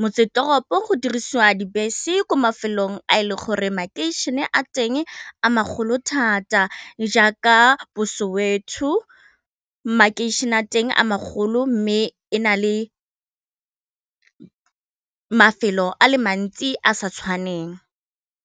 motsesetoropo go dirisiwa dibese ko mafelong a e leng gore makasine a teng a magolo thata jaaka bo Sowetho makeišeneng a teng a magolo mme e na le mafelo a le mantsi a sa tshwaneng.